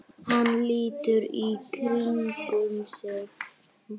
Hann lítur í kringum sig.